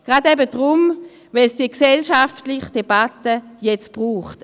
Gerade deshalb, weil es die gesellschaftliche Debatte jetzt braucht.